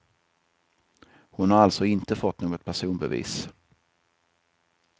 Hon har alltså inte fått något personbevis.